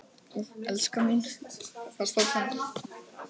Elskan mín!